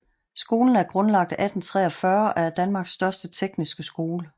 Skolen er grundlagt 1843 og er Danmarks største tekniske skole